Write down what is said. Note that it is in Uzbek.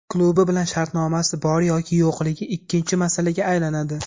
Klubi bilan shartnomasi bor yoki yo‘qligi ikkinchi masalaga aylanadi.